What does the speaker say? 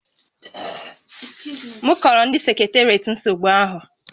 M kọọrọ ndị seketeriatị nsogbu ahụ